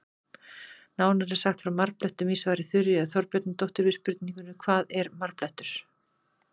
Nánar er sagt frá marblettum í svari Þuríðar Þorbjarnardóttur við spurningunni Hvað er marblettur?